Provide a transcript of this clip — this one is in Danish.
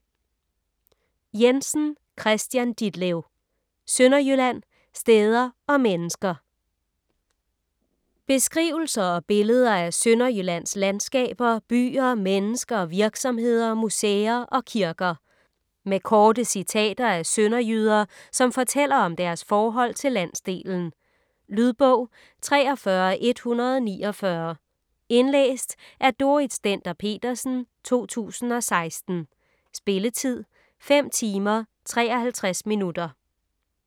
Jensen, Kristian Ditlev: Sønderjylland: steder og mennesker Beskrivelser og billeder af Sønderjyllands landskaber, byer, mennesker, virksomheder, museer og kirker. Med korte citater af sønderjyder, som fortæller om deres forhold til landsdelen. Lydbog 43149 Indlæst af Dorrit Stender-Petersen, 2016. Spilletid: 5 timer, 53 minutter.